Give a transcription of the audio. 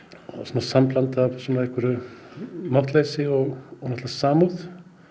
sambland af einhverju máttleysi og samúð